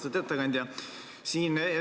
Austatud ettekandja!